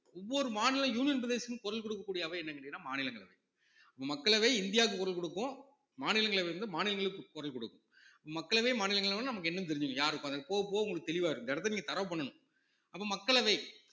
ஒவ்வொரு மாநில union பிரதேசத்துக்கும் குரல் கொடுக்கக் கூடிய அவை என்னன்னு கேட்டீங்கன்னா மாநிலங்களவை, மக்களவை இந்தியாவுக்கு குரல் கொடுக்கும் மாநிலங்களவை வந்து மாநிலங்களுக்கு குரல் கொடுக்கும் மக்களவை மாநிலங்களவைன்னா நமக்கு என்னன்னு தெரிஞ்சுக்குங்க யாரு பாக்க போகப் போக உங்களுக்கு தெளிவா இருக்கும் இந்த இடத்தை நீங்க thorough பண்ணணும் அப்போ மக்களவை